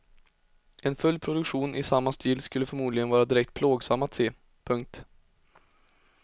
En full produktion i samma stil skulle förmodligen vara direkt plågsam att se. punkt